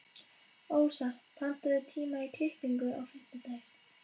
Ósa, pantaðu tíma í klippingu á fimmtudaginn.